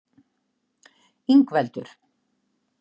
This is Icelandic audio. Ingveldur